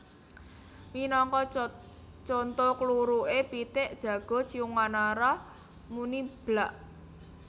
Minangka conto kluruké pitik jago Ciung Wanara muni Blak